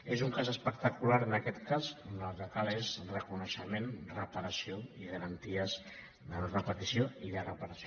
és un cas espectacular en aquest cas en què el que cal és reconeixement reparació i garanties de no·re·petició i de reparació